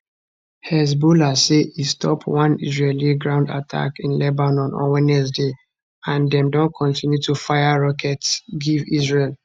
hezbollah say e stop one israeli ground attack in lebanon on wednesday and dem don continue to fire rockets give israel